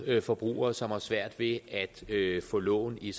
forbrugere som har svært ved at få lån i